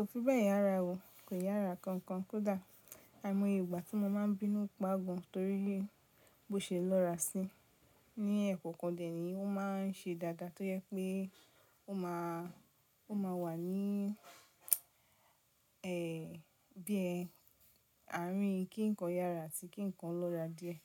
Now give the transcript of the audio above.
Kò fi bẹ́ẹ̀ yára o. Kò yára kankan, kódà àìmọye ìgbà tí mo máa ń bínú pa gan torí bó ṣe lọ́ra sí, ní ẹkọ kán dẹ̀ ní ó ma n se dáadáa, tó jẹ pé ó ma wà ní ẹ bí àárín kí nǹkan yára àti kí nǹkan lọ́ra díẹ̀.